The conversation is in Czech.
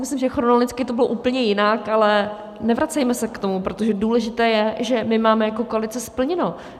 Myslím, že chronologicky to bylo úplně jinak, ale nevracejme se k tomu, protože důležité je, že my máme jako koalice splněno.